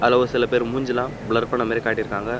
அதுல ஒரு சில பேர் மூஞ்சிலா ப்ளர் பண்ண மாரி காட்டிருக்காங்க.